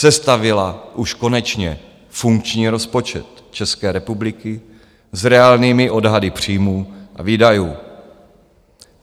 Sestavila už konečně funkční rozpočet České republiky s reálnými odhady příjmů a výdajů.